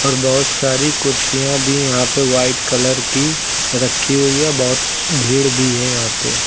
और बहुत सारी कुर्सियां भी यहां पर वाइट कलर की रखी हुई है बहुत भीड़ भी है यहां पर।